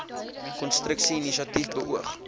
konstruksie inisiatief beoog